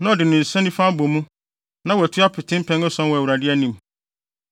na ɔde ne nsa nifa abɔ mu, na watu apete mpɛn ason wɔ Awurade anim.